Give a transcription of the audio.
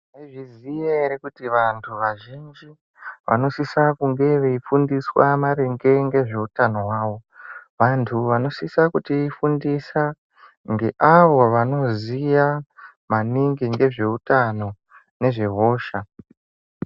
Mai zviziya ere kuti vantu vazhinji vanosisa kunge vei fundiswa maringe ngezvehutano hwavo. Vantu vanosisa kuti fundisa ngeavo vanoziya maningi nge zveutano ngezve hosha.